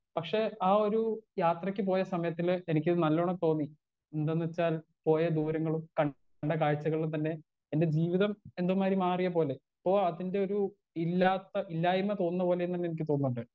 Speaker 1 പക്ഷെ ആ ഒരു യാത്രക്ക് പോയ സമയത്തില് എനിക്കിത് നല്ലോണം തോന്നി എന്തെന്നെച്ചാൽ പോയ ദൂരങ്ങളും കണ്ട കാഴ്ച്ചകളും തന്നെ എന്റെ ജീവിതം എന്തോ മാരി മാറിയ പോലെ ഇപ്പോ അതിന്റൊരു ഇല്ലാത്ത ഇല്ലായ്‌മ തോന്നുന്ന പോലേന്നന്നെ എനിക്ക് തോന്നിണ്ട്.